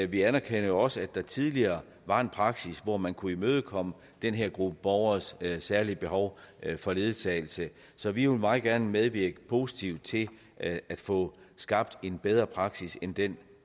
vi anerkender jo også at der tidligere var en praksis hvor man kunne imødekomme den her gruppe borgeres særlige behov for ledsagelse så vi vil meget gerne medvirke positivt til at få skabt en bedre praksis end den